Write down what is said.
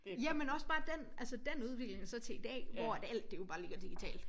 Jamen også bare dén altså dén udvikling også bare til i dag hvor at alt det jo bare ligger digitalt